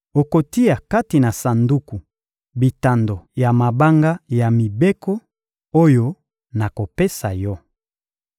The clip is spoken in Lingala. Okotia kati na sanduku bitando ya mabanga ya mibeko, oyo nakopesa yo.